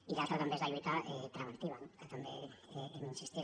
i l’altra també és la lluita preventiva no que també hi hem insistit